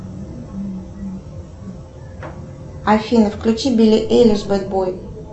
афина включи билли эйлиш бэд бой